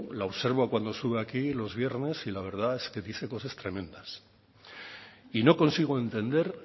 la observo cuando sube aquí los viernes y la verdad es que dice cosas tremendas y no consigo entender